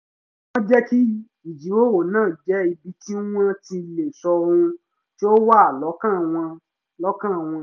wọ́n jẹ́ kí ìjíròrò náà jẹ́ ibi tí wọ́n ti lè sọ ohun tí ó wà lọ́kàn wọ́n wà lọ́kàn wọ́n